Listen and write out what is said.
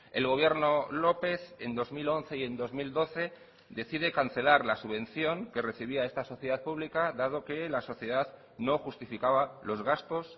el gobierno lópez en dos mil once y en dos mil doce decide cancelar la subvención que recibía esta sociedad pública dado que la sociedad no justificaba los gastos